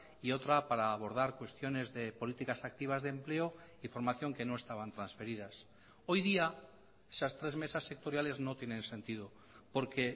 y otra para abordar cuestiones de políticas activas de empleo y formación que no estaban transferidas hoy día esas tres mesas sectoriales no tienen sentido porque